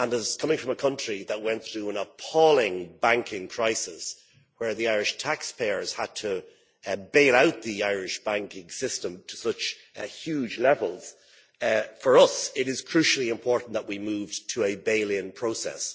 Coming from a country that went through an appalling banking crisis, where the Irish taxpayers had to bail out the Irish banking system to such a huge level, for us it is crucially important that we moved to a bail in process.